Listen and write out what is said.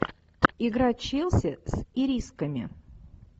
игра челси с ирисками